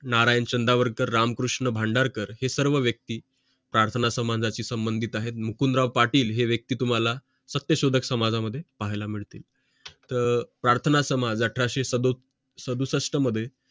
नारायण चंदावरकर रामकृष्ण भांडारकर हे सर्व व्यक्ती प्रार्थनासमाजाची संबंधित आहेत मुकुंदराव पाटील हे व्यक्ती तुम्हाला सत्यशोधक समाजामध्ये पाहायला मिळतील तर प्रार्थनासमाज अठराशे सदुसष्ट मध्ये